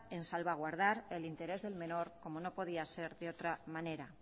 en salvaguardar el interés del menor como no podía ser de otra manera